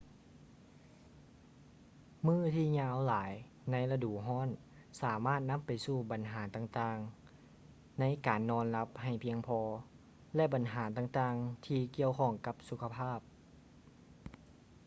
ມື້ທີ່ຍາວຫຼາຍໃນລະດູຮ້ອນ ສາມາດນຳໄປສູ່ບັນຫາຕ່າງໆ ໃນການນອນຫຼັບໃຫ້ພຽງພໍ ແລະ ບັນຫາຕ່າງໆ ທີ່ກ່ຽວຂ້ອງກັບສຸຂະພາບ